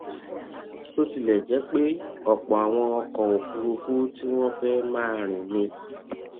bó tilè jé pé òpò àwọn ọkò òfuurufú tí wón fé máa rìn ni